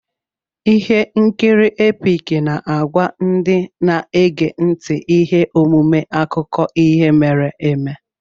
Ihe nkiri Epic na-agwa ndị na-ege ntị ihe omume akụkọ ihe mere eme.